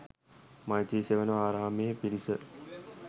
මෛත්‍රී සෙවණ ආරාමයේ පිරිස